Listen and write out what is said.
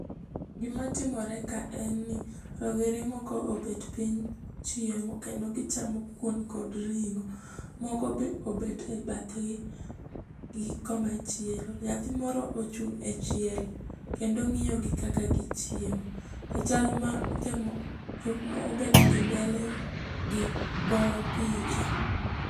Gimatimore ka en ni rawere moko obet piny chiemo, kendo gichamo kuon kod ring'o. Moko be obet e bathgi gi komachielo. Nyathi moro ochung' e chiel kendo ng'iyogi kaka gichiemo. To chal ma jok mobet gimbelegi goyo picha.